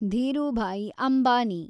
Dhirubhai Ambani